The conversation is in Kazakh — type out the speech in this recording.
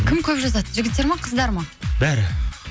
кім көп жазады жігіттер ме қыздар ма бәрі